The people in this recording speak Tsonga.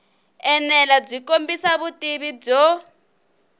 enela byi kombisa vutivi byo